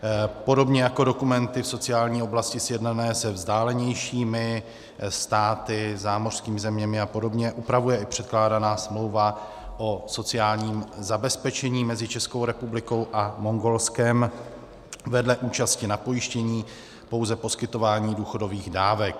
Podobně jako dokumenty v sociální oblasti sjednané se vzdálenějšími státy, zámořskými zeměmi a podobně, upravuje i předkládaná smlouva o sociálním zabezpečení mezi Českou republikou a Mongolskem vedle účasti na pojištění pouze poskytování důchodových dávek.